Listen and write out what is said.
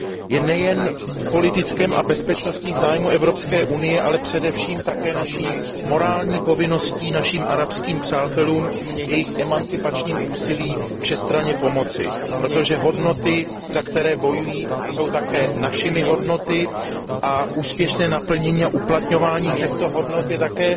Je nejen politickým a bezpečnostním zájmem Evropské unie, ale především také naší morální povinností našim arabských přátelům v jejich emancipačním úsilí všestranně pomoci, protože hodnoty, za které bojují, jsou také našimi hodnotami a úspěšné naplňování a uplatňování těchto hodnot je také